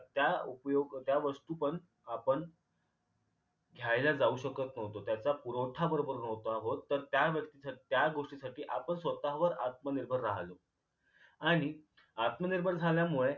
त्या उपयोग त्या वस्तू पण आपण घ्यायला जाऊ शकत न्हवतो त्याचा पुरवठा बरोबर न्हवता होत तर त्या व्यक्ती त्या गोष्टीसाठी आपण स्वतःवर आत्मनिर्भर राहिलो आणि आत्मनिर्भर राहिल्यामुळे